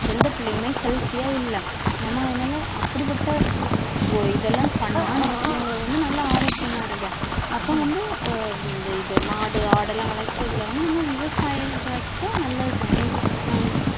எந்த பிள்ளையுமே healthy யா இல்லை நம்ம அதனால அப்படிப்பட்ட ஓ இதெல்லாம் பண்ணா நம்ம பிள்ளைங்களுக்கு வந்து நல்ல ஆரோக்கியமா இருக்கும் அப்போ வந்து ஆஹ் இந்த இது, மாடு ஆடெல்லாம் வளர்க்கறதுல வந்து நம்ம விவசாயிகளுக்கும் நல்லதுதானே ஹம்